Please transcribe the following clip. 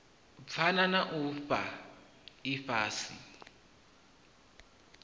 phana na u fhaa ifhasi